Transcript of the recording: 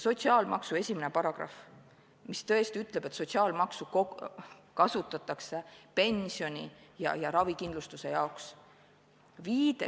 Sotsiaalmaksuseaduse §-s 1 tõesti öeldakse, et sotsiaalmaksu kasutatakse pensioni- ja ravikindlustuse jaoks.